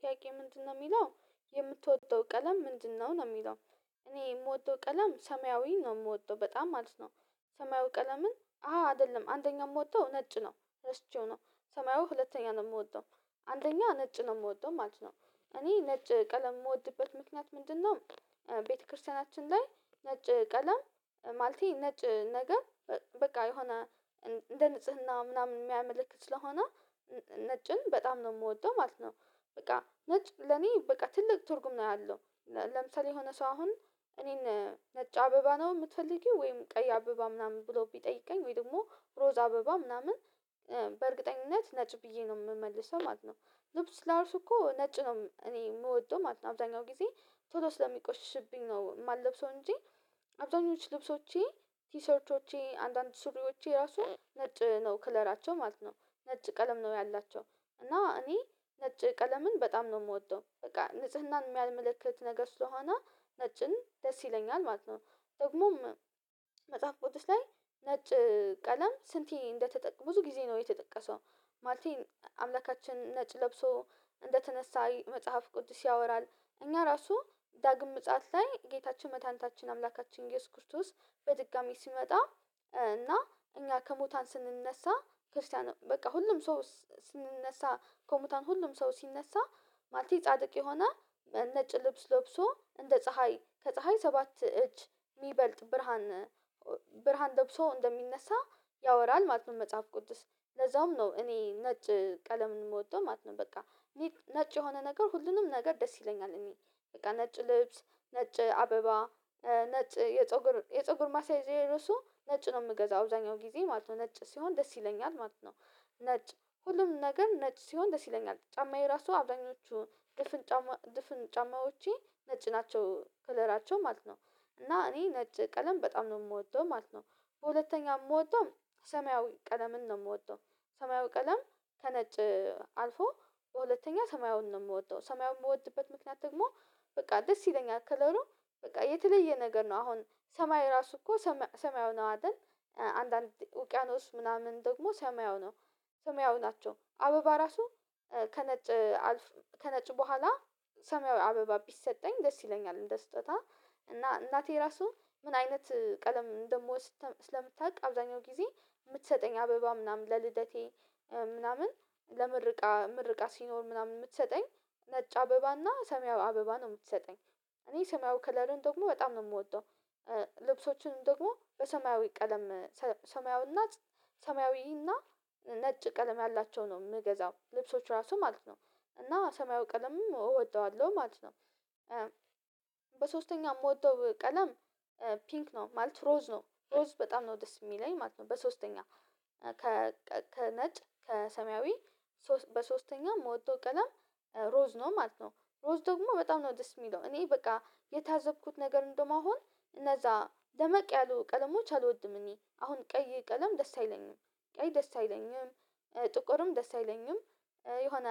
ጥያቄ ምንድን ነው የሚለው የምትወደው ቀለም ምንድን ነው ነው የሚለው? እኔ የምወደው ቀለም ሰማያዊ ነው ምወደው በጣም ማለት ነው። ሰማያዊ ቀለምን አይደለም አንደኛ ምወደው ነጭ ነው። ረስቼው ነው ሰማያዊ ሁለተኛ ነው ምወደው አንደኛ ነጭ ነው ምወደው ማለት ነው። እኔ ነጭ ቀለም የምወድበት ምክንያት ምንድን ነው? ቤተክርስቲያናችን ላይ ነጭ ቀለም ማለቴ ነጭ ነገር በቃ የሆነ እንደ ንጽህና ምናምን ሚያመለክት ስለሆነ ነጭን በጣም ነው ምወደው ማለት ነው። በቃ ነጭ ለኔ በቃ ትልቅ ትርጉም ነው ያለው። ለምሳሌ የሆነ ሰው አሁን እኔን ነጭ አበባ ነው ምትፈልጊው ወይም ቀይ አበባ ምናምን ብሎ ቢጠይቀኝ ወይ ደግሞ ሮዛ አበባ ምናምን በእርግጠኝነት ነጭ ብዬ ነው ምመልሰው ማለት ነው። ልብስ ራሱ እኮ ነጭ ነው እኔ ምወደው ማለት ነው አብዛኛው ጊዜ ቶሎ ስለሚቆሽብኝ ነው የማልለብሰው እንጂ። አብዛኞቹ ልብሶቼ ቲሰርቶቼ አንዳንድ ሱሪዎቼ ራሱ ነጭ ነው ክለራቸው ማለት ነው። ነጭ ቀለም ነው ያላቸው እና እኔ ነጭ ቀለምን በጣም ነው ምወደው በቃ ንጽህናን የሚያመለክት ነገር ስለሆነ ነጭን ደስ ይለኛል ማለት ነው። ደግሞም መጽሐፍ ቅዱስ ላይ ነጭ ቀለም ስንቴ እንደተጠቀሰ ብዙ ጊዜ ነው የተጠቀሰው ማለቴ አምላካችን ነጭ ለብሶ እንደተነሳ መጽሐፍ ቅዱስ ያወራል። እኛ ራሱ ዳግም ምጽአት ላይ ጌታችን መዳህኒታችን አምላካችን እሱስ ክርስቶስ በድጋሚ ሲመጣ እና እኛ ከሙታን ስንነሳ ክርስቲያን በቃ ሁሉም ሰው ስንነሳ ከሙታን ሁሉም ሰው ሲነሳ ማለቴ ጻድቅ የሆነ በነጭ ልብስ ለብሶ እንደ ፀሀይ ከፀሀይ ሰባት እጅ ሚበልጥ ብርሃን ብርሃን ለብሶ እንደሚነሳ ያወራል ማጽንት መጽሐፍ ቅዱስ ለዛውም ነው እኔ ነጭ ቀለምን ምወደው ማለት ነው። በቃ ነጭ የሆነ ነገር ሁሉንም ነገር ደስ ይለኛል እኔ በቃ ነጭ ልብስ ነጭ አበባ ነጭ የፀጉር የፀጉር ማሳያዣየ ራሱ ነጭ ነው ምገዛው አብዛኛው ጊዜ ማለት ነው ነጭ ሲሆን ደስ ይለኛል ማለት ነው። ነጭ ሁሉም ነገር ነጭ ሲሆን ደስ ይለኛል ጫማዬ ራሱ አብዛኞቹ ድፍን ጫማ ድፍን ጫማዎቼ ነጭ ናቸው ከለራቸው ማለት ነው። እና እኔ ነጭ ቀለም በጣም ነው ምወደው ማለት ነው። በሁለተኛ ምወደው ሰማያዊ ቀለምን ነው ምወደው ሰማያዊ ቀለም ተነጭ አልፎ ሁለተኛ ሰማያዊውን ነው የምወደው ሰማያዊውን የምወድበት ምክንያት ደግሞ በቃ ደስ ይለኛል ከለሩ በቃ የተለየ ነገር ነው አሁን ሰማይ ራሱ እኮ ሰማያዊ ነው አይደል አንዳንድ ውቅያኖስ ምናምን ደግሞ ሰማያዊ ነው። ሰማያዊ ናቸው አበባ ራሱ ከነጭ አልፍ ከነጭ በኋላ ሰማያዊ አበባ ቢሰጠኝ ደስ ይለኛል እንደ ስጦታ እና እናቴ ራሱ ምን አይነት ቀለም እምደምወድ ስለምታውቅ አብዛኛው ጊዜ የምትሰጠኝ አበባ ምናምን ለልደቴ ምናምን ለምርቃ ምርቃ ሲኖር ምናምን ምትሰጠኝ ነጭ አበባና ሰማያዊ አበባ ነው ምትሰጠኝ። እኔ ሰማያዊ ከለርን ደግሞ በጣም ነው የምወደው። ልብሶቹንም ደግሞ በሰማያዊ ቀለም ሰማያዊ ሰማያዊና ነጭ ቀለም ያላቸው ነው የምገዛው ልብሶች ራሱ ማለት ነው። እና ሰማዩ ቀለምም እወጣዋለሁ ማለት ነው። በሶስተኛው የምወደው ቀለም ፒንክ ነው ማለት ሮዝ ነው ሮዝ በጣም ነው ደስ የሚለኝ ማለት ነው በሶስተኛ ከነጭ ከሰማያዊ በሶስተኛ ምወደው ቀለም ሮዝ ነው ማለት ነው። ሮዝ ደግሞ በጣም ነው ደስ የሚለው እኔ በቃ የታዘብኩት ነገር እንደያውም እነዛ ደመቅ ያሉ ቀለሞች አልወድም እኔ አሁን ቀይ ቀለም ደስ አይለኝም። ቀይ ደስ አይለኝም ጥቁርም ደስ አይለኝም የሆነ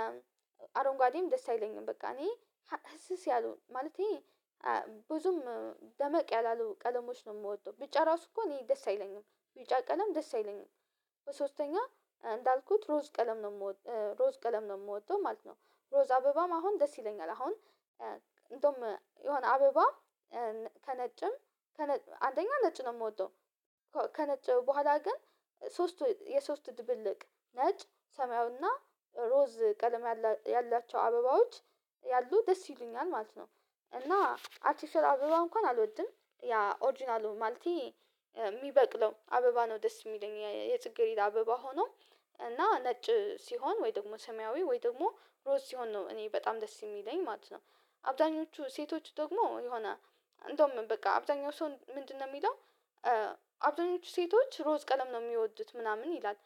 አረንጓዴም ደስ አይለኝም በቃ እኔ ህስስ ያለው ማለቴ ብዙም ደመቅ ያላሉ ቀለሞች ነው የምወደው ቢጫ ራሱ እኮ እኔ ደስ አይለኝም ቢጫ ቀለም ደስ አይለኝም። በሶስተኛ እንዳልኩት ሮዝ ቀለም ነው የምወደው ማለት ነው። ሮዝ አበባም አሁን ደስ ይለኛል አሁን እንደውም የሆነ አበባ ከነጭም ከነጭ አንደኛ ነጭ ነው የምወደው ከነጭ በኋላ ግን ሶስቱ የሶስቱ ድብልቅ ነጭ ሰማዩና ሮዝ ቀለም ያላቸው አበባዎች ያሉ ደስ ይሉኛል ማለት ነው። እና አርቲፊሻል አበባ እንኳን አልወድም ያ ኦሪጅናሉ ማለቴ ሚበቅለው አበባ ነው ደስ የሚለኝ የጽጌሪዳ አበባ ሆኖ እና ነጭ ሲሆን ወይ ደግሞ ሰማያዊ ወይ ደግሞ ሮዝ ሲሆን ነው እኔ በጣም ደስ የሚለኝ ማለት ነው። አብዛኞቹ ሴቶች ደግሞ የሆነ እንደውም በቃ አብዛኛው ሰው ምንድን ነው ሚለው አብዛኞቹ ሴቶች ሮዝ ቀለም ነው ሚወዱት ምናምን ይላል።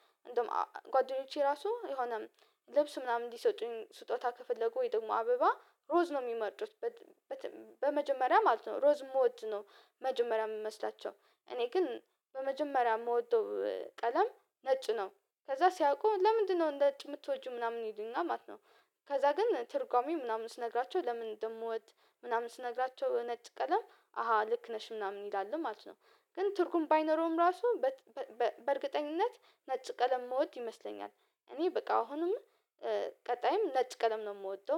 ጓደኞቼ ራሱ የሆነ ልብስ ምናምን እንዲሰጡኝ ስጦታ ከፈለጉ ወይ ደግሞ አበባ ሮዝ ነው ሚመርጡት። በመጀመሪያ ማለት ነው ሮዝ ሞድ ነው መጀመሪያ ምመስላቸው እኔ ግን በመጀመሪያ የምወደው ቀለም ነጭ ነው። ከዛ ሲያቁ ለምንድነው ነጭ የምትወጂው ምናምን ይልና ማለት ነው። ከዛ ግን ትርጓሜ ምናምን ስነግራቸው ለምን እንደምወድ ምናምን ስነግራቸው ነጭ ቀለም አሃ ልክ ነሽ ምናምን ይላሉ ማለት ነው። ግን ትርጉም ባይኖረውም ራሱ በእርግጠኝነት ነጭ ቀለም እምወድ ይመስለኛል እኔ በቃ አሁንም ቀጣይም ነጭ ቀለም ነው የምወደው